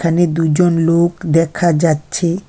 এখানে দুইজন লোক দেখা যাচ্ছে।